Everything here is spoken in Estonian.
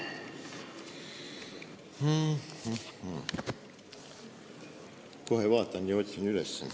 Kohe vaatan ja otsin üles.